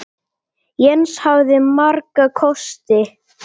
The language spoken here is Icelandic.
Jens hafði marga kosti.